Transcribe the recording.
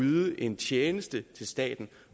yde en tjeneste til staten